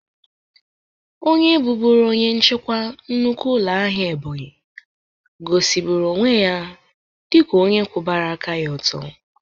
Onye bụbụrụ onye nchịkwa nnukwu ụlọ ahịa Ebonyi goziburu onwe ya dịka onye kwụbara aka ya ọtụ.